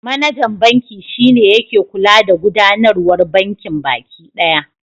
Manajan banki shi ne yake kula da gudanarwar bankin baki ɗaya.